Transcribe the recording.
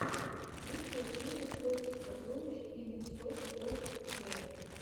лучшая серия в поисках сокровищ ин серч оф трэжэс